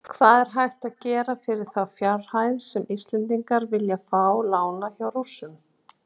Hvað er hægt að gera fyrir þá fjárhæð sem Íslendingar vilja fá lánaða hjá Rússum?